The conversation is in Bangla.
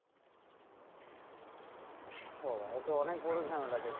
ও বাবা! এ তো অনেক বড় ঝামেলা দেখছি,